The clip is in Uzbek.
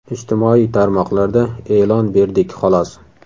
Ijtimoiy tarmoqlarda e’lon berdik xolos.